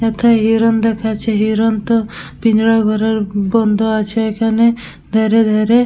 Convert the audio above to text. এক্ষা হিরন দেখাচ্ছে। হিরন তো পিঞ্জরা ঘরের বন্ধ আছে এখানে। ধরে ধরে--